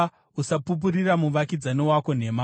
Usapupurira muvakidzani wako nhema.